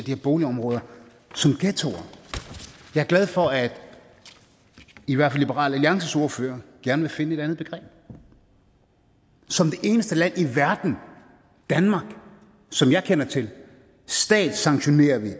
her boligområder som ghettoer jeg er glad for at i hvert fald liberal alliances ordfører gerne vil finde et andet begreb som det eneste land i verden som jeg kender til statssanktionerer vi